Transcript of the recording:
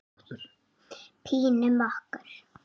Pínum okkur.